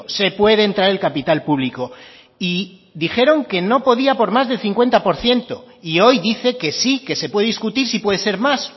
se puede entrar el capital público y dijeron que no podía por más de cincuenta por ciento y hoy dice que sí que se puede discutir si puede ser más